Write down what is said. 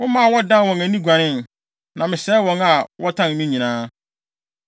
Womaa wɔdan wɔn ani guanee, na mesɛe wɔn a wɔtan me nyinaa.